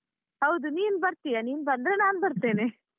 ಹೌದು ನೀನ್ ಬರ್ತೀಯಾ ನೀನ್ ಬಂದ್ರೆ ನಾನ್ ಬರ್ತೇನೆ.